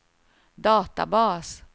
databas